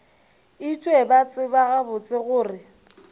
etšwe ba tseba gabotse gore